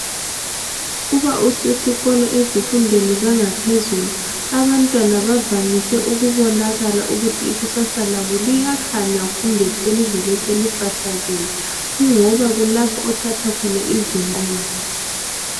Uba usezikolo ezifundweni zangaphezulu abantwana bavamise ukubonakala ukuthi ikusasa labo liyakhanya kumbe selivele selifahlakele kungoba kulapho othatha khona izinqumo.